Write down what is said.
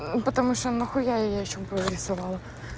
потому что нахуя я ей ещё брови рисовала